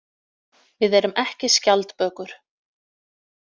Við erum ekki skjaldbökur.